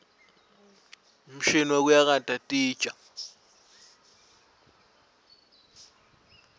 umshini wekuyakata titja